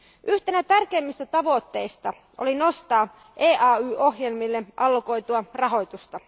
Yhtenä tärkeimmistä tavoitteista oli nostaa EAY ohjelmille allokoitua rahoitusta.